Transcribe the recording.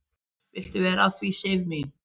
"""Viltu vera að því, Sif mín?"""